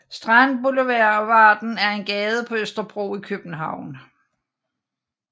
Strandboulevarden er en gade på Østerbro i København